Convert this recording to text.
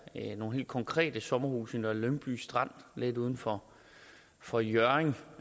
er nogle helt konkrete sommerhuse i nummer lyngby strand lidt uden for for hjørring